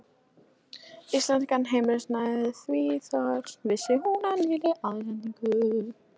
Íslenskan heimilisiðnað, því þar vissi hún af nýrri andasendingu.